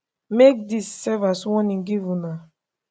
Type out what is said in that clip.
make dis serve as strong warning give una